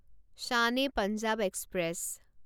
Shan e Punjab express